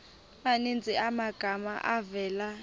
maninzi amagama avela